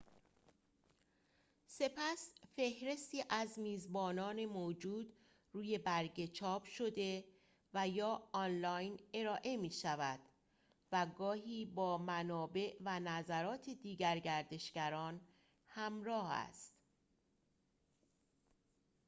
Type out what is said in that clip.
سپس فهرستی از میزبانان موجود روی برگه چاپ‌شده و/یا آنلاین ارائه می‌شود، و گاهی با منابع و نظرات دیگر گردشگران همراه است